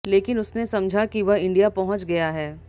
लेकिन उसने समझा कि वह इंडिया पहुंच गया है